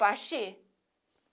Baxi?